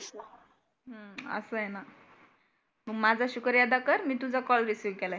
असं आहे ना. मग माझा शुक्रियादा कर मी तुझा कॉल रिसिव्ह केला आहे.